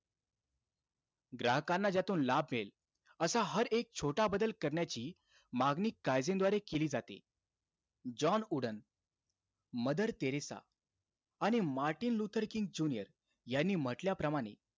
ग्राहकांना ज्यातून लाभ मिळेल, असा हर एक छोटा बदल करण्याची मागणी काईझेनद्वारे केली जाते. जॉन वूडन मदर टेरेसा आणि मार्टिन लुथर किंग जुनिअर यांनी म्हटल्याप्रमाणे,